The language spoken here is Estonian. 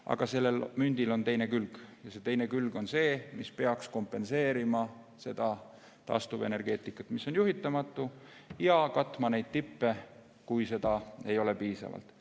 Aga sellel mündil on teine külg ja teine külg on see, mis peaks kompenseerima seda taastuvenergeetikat, mis on juhitamatu, ja katma neid tippe, kui energiat ei ole piisavalt.